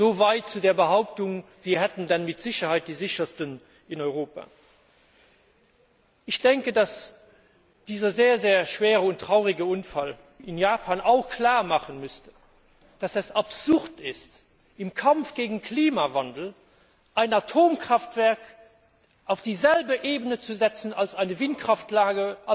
so weit zu der Behauptung, wir hätten dann mit Sicherheit die sichersten in Europa. Ich denke, dass dieser sehr, sehr schwere und traurige Unfall in Japan auch klarmachen müsste, dass es absurd ist, im Kampf gegen Klimawandel ein Atomkraftwerk auf dieselbe Ebene zu setzen wie eine Windkraftanlage